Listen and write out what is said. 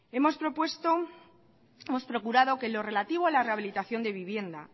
hemos procurado que en lo relativo a la rehabilitación de vivienda